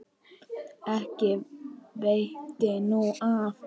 Ekki veitti nú af.